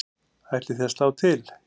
Ætlið þið að slá til?